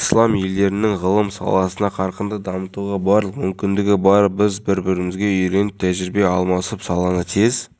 акция балалардың өмір сүру сапасын жақсартудың жаңа әлеуметтік саясатын іске асыру аясындағы шара және нұр отан